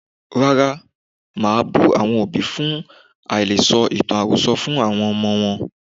Rárá, màá bú àwọn òbí fún àìle sọ ìtàn àròsọ fún ọmọ wọn.